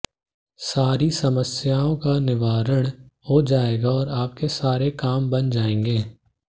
सारी समस्याओं का निवारण हो जाएगा और आपके सारे काम बन जायेंगे